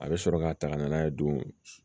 A bɛ sɔrɔ ka ta ka na n'a ye don